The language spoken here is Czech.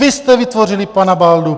Vy jste vytvořili pana Baldu!